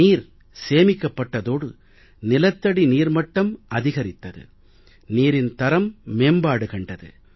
நீர் சேமிக்கப்பட்டதோடு நிலத்தடி நீர் மட்டம் அதிகரித்தது நீரின் தரம் மேம்பாடு கண்டது